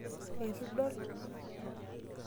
Etu idol?